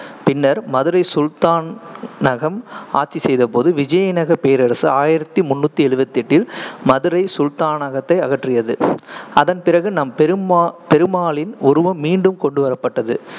பின்னர், மதுரை சுல்தான்~ னகம் ஆட்சி செய்தபோது, விஜயநகரப் பேரரசு ஆயிரத்தி முண்ணூத்தி எழுவத்தி எட்டில் மதுரை சுல்தானகத்தை அகற்றியது. அதன்பிறகு, நம்பெருமா~ பெருமாளின் உருவம் மீண்டும் கொண்டுவரப்பட்டது.